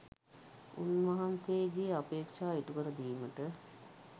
උන්වහන්සේගේ අපේක්ෂා ඉටුකර දීමට